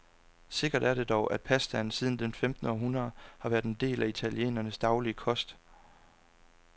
Sikkert er det dog, at pasta siden det femtende århundrede har været en del af italienernes daglige kost.